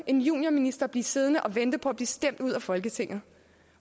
en juniorminister blive siddende og vente på at blive stemt ud af folketinget